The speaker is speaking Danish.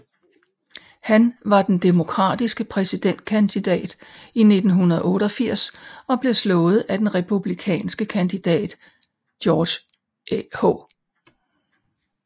Han var den demokratiske præsidentkandidat i 1988 og blev slået af den republikanske kandidat George H